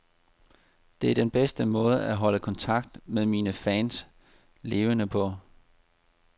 Det er den bedste måde at holde kontakten med mine fans levende på.